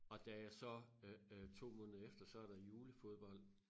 Og da jeg så øh øh 2 måneder efter så er der julefodbold